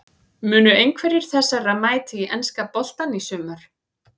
Munu einhverjir þessara mæta í enska boltann í sumar?